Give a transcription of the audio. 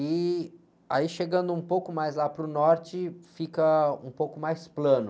E aí, chegando um pouco mais lá para o norte, fica um pouco mais plano.